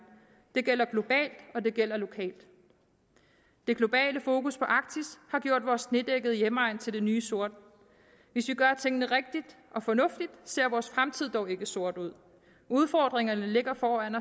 det gælder globalt og det gælder lokalt det globale fokus på arktis har gjort vores snedækkede hjemegn til det nye sort hvis vi gør tingene rigtigt og fornuftigt ser vores fremtid dog ikke sort ud udfordringerne ligger foran